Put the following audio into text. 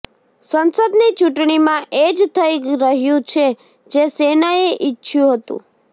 સંસદની ચૂંટણીમાં એ જ થઈ રહ્યું છે જે સેનાએ ઇચ્છયું હતું